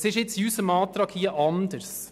Dies ist in unserem Antrag anders.